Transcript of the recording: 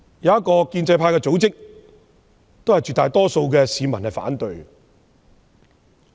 一個親建制派組織的調查顯示，絕大多數市民反對計劃。